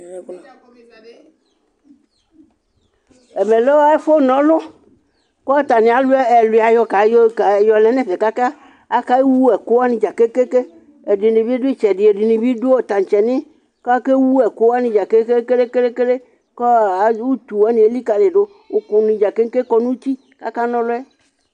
Ɛmɛ lɛ ɛfʋ nɔlʋ, kʋ atani ayɔ ɛlʋia yɔlɛ nʋ ɛfɛ kʋ akewʋ ɛkʋ wanɩ dza kekeke Ɛdɩnɩ bɩ dʋ ɩtsɛdɩ, ɛdɩnɩ bɩ dʋ taŋtse nɩɩ, kʋ akewʋ ɛkʋ wani dza kelekelekele Kʋ utu wani elikǝli dʋ Ʋkʋ ni dza keke kɔ nʋ uti, kʋ aka nɔlʋ yɛ